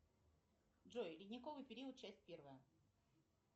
джой ледниковый период часть первая